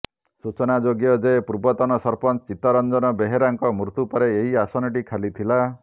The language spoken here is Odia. ସୂଚନାଯୋଗ୍ୟ ଯେ ପୂର୍ବତନ ସରପଞ୍ଚ ଚିତ୍ତରଞ୍ଜନ ବେହେରାଙ୍କ ମୃତ୍ୟୁପରେ ଏହି ଆସନଟି ଖାଲିଥିଲା